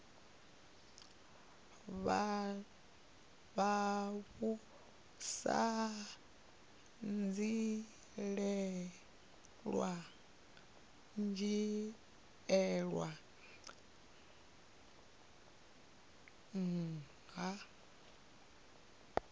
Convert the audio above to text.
vha vhu sa dzhielwi nha